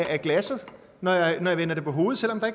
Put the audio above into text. af glasset når jeg vender det på hovedet selv om der